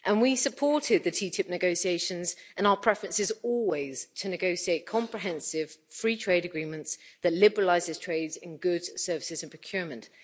And we supported the TTIP negotiations, and our preference is always to negotiate comprehensive free trade agreements that liberalise trade in goods, services and procurement.